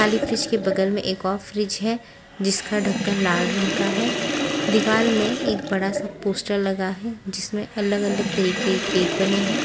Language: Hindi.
काली फ्रिज के बगल में एक और फ्रिज है जिसका ढक्कन लाल रंग का है दीवार में एक बड़ा सा पोस्टर लगा है जिसमें अलग-अलग तरीके के केक बने हैं।